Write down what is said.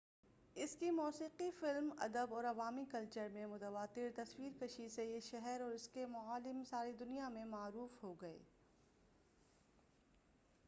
اس کی موسیقی فلم ادب اور عوامی کلچر میں متواتر تصویر کشی سے یہ شہر اور اس کے معالِم ساری دنیا میں معروف ہو گئے